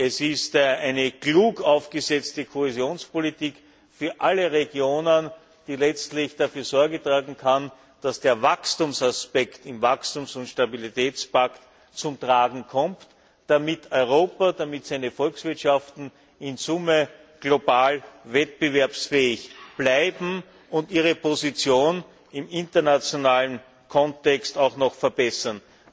Es ist eine klug aufgesetzte Kohäsionspolitik für alle Regionen, die letztlich dafür Sorge tragen kann, dass der Wachstumsaspekt im Wachstums und Stabilitätspakt zum Tragen kommt, damit Europa, damit seine Volkswirtschaften in Summe global wettbewerbsfähig bleiben und sie ihre Position im internationalen Kontext auch noch verbessern.